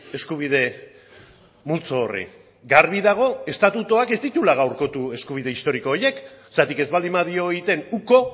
eskubide multzo horri garbi dago estatutuak ez dituela gaurkotu eskubide historiko horiek zergatik ez baldin badio egiten uko